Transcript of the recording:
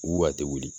U a tɛ wuli